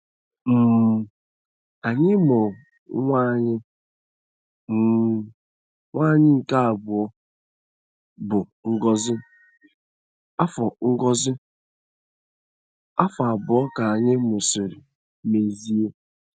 um Anyị mụrụ nwa anyị um nwanyị nke abụọ, bụ́ Ngozi, afọ Ngozi, afọ abụọ ka anyị mụsịrị Mezie.